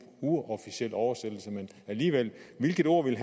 uofficiel oversættelse men alligevel hvilket ord ville